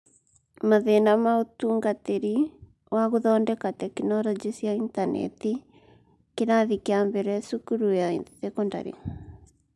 Mathĩna ma ũtungatĩri wa gũthondeka tekinoronjĩ cia Intaneti (kĩrathi kĩa mbere thukuru ya thekondarĩ)